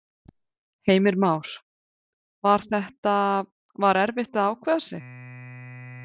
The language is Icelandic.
Heimir Már: Var þetta, var erfitt að ákveða sig?